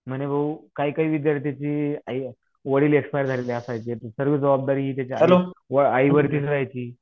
म्हणे भाऊ काही काही विद्यार्थ्यांची आई वडील एक्स्पायर झालेले असायचे सर्व जबाबदारी हे त्याच्या आईवरतीच राहायची